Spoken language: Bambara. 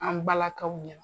An balakaw ɲɛna.